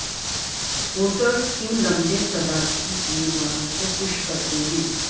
voters کیوں لمبے صدارتی امیدواروں کو خوش کرتے ہیں